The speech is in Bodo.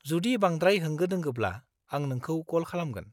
जुदि बांद्राय होंगो-दोंगोब्ला, आं नोंखौ कल खालामगोन।